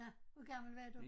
Nåh hvor gammel var du?